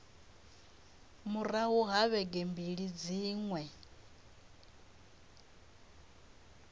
murahu ha vhege mbili dziṅwe